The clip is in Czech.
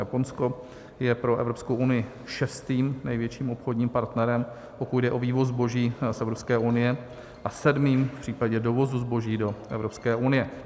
Japonsko je pro Evropskou unii šestým největším obchodním partnerem, pokud jde o vývoz zboží z Evropské unie, a sedmým v případě dovozu zboží do Evropské unie.